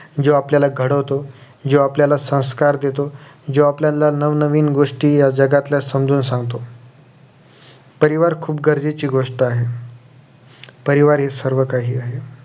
जो आपल्याला घडवतो जो आपल्याला संस्कार देतो जो आपल्याला नवनवीन गोष्टी या जगातल्या समजून सांगतो परिवार खुप गरजेची गोष्ट आहे परिवार हे सर्व काही आहे